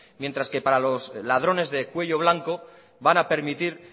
mientras que para los ladrones de cuello blanco van a permitir